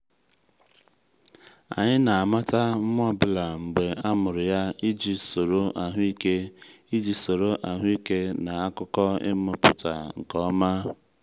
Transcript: anyị na-amata nwa ọ bụla mgbe a mụrụ ya iji soro ahụike iji soro ahụike na akụkọ ịmụpụta nke ọma.